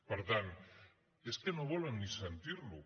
per tant és que no volen ni sentir lo